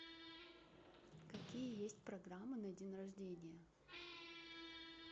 какие есть программы на день рождения